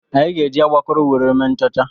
Anyị ga-eji agbakụrụ were mee nchọcha.